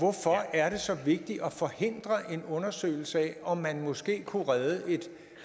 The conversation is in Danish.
er det så vigtigt at forhindre en undersøgelse af om man måske kunne redde et